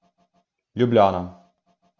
Ljubljana.